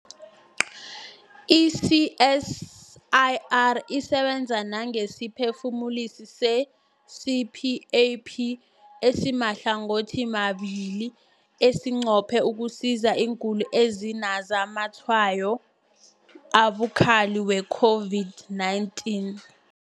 I-CSIR isebenza nangesiphefumulisi se-CPAP esimahlangothimabili esinqophe ukusiza iingulani ezinazamatshwayo abukhali we-COVID-19.